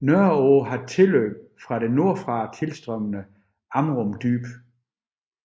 Nørreå har tilløb fra det nordfra tilstrømmende Amrum Dyb